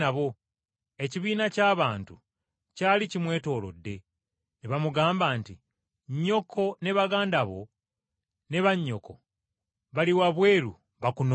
Ekibiina ky’abantu kyali kimwetoolodde, ne bamugamba nti, “Nnyoko ne baganda bo ne bannyoko bali wabweru bakunoonya.”